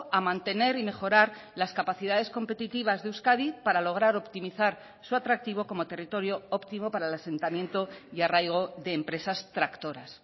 a mantener y mejorar las capacidades competitivas de euskadi para lograr optimizar su atractivo como territorio óptimo para el asentamiento y arraigo de empresas tractoras